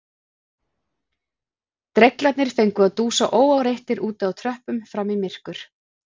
Dreglarnir fengu að dúsa óáreittir úti á tröppum fram í myrkur